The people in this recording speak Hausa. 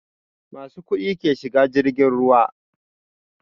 Masu kuɗi ke shiga jirgin ruwa